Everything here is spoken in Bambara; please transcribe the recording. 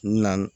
N na